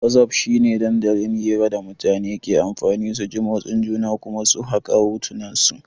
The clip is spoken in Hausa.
Whatsapping shi ne dandalin hira da mutane ke amfani su ji motsin juna Kuma su saka hotunansu.